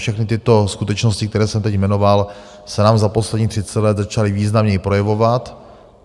Všechny tyto skutečnosti, které jsem teď jmenoval, se nám za posledních třicet let začaly významněji projevovat.